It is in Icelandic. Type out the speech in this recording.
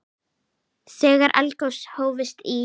Þegar eldgos hófust í